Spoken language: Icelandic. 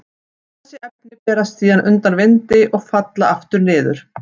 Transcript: Þessi efni berast síðan undan vindi og falla aftur niður.